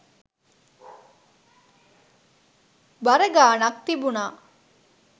බර ගාණක් තිබුණා.